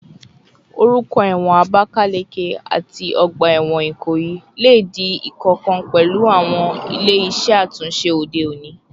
Orúkọ ẹ̀wọ̀n Abakaleke àti ọgbà ẹ̀wọ̀n Ikoyi lè di ìkankan pẹ̀lú àwọn ilé iṣẹ́ àtúnṣe òde òní